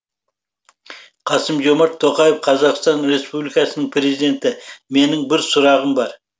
қасым жомарт тоқаев қазақстан республикасының президенті менің бір сұрағым бар